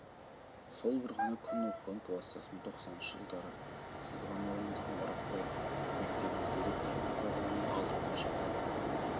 сол бір ғана күн оқыған кластасым тоқсаныншы жылдары сызған ауылындағы мұратбаев мектебіне директор болып барғанымда алдымнан шығып тұр